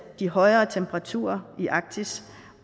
de højere temperaturer i arktis